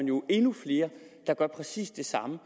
jo endnu flere der gør præcis det samme